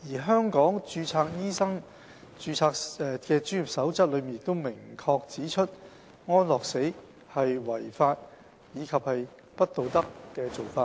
《香港註冊醫生專業守則》亦明確指出，安樂死是"違法及不道德的做法"。